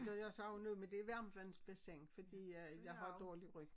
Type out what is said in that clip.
Da jeg savnede med det varmtvandsbassin fordi øh jeg har dårlig ryg